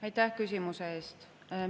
Aitäh küsimuse eest!